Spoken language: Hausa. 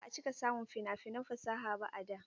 Ba a cika samun fina-finan fasaha ba a da.